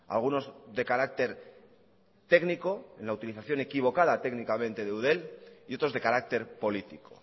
algunos de carácter técnico en la utilización equivocada técnicamente de eudel y otros de carácter político